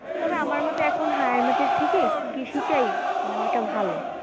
তবে আমার মতে এখন higher math এর থেকে কৃষিটাই নেওয়াটা ভালো।